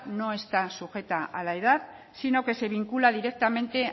no está sujeta a la edad sino que se vincula directamente